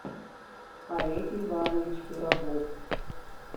олег иванович пирогов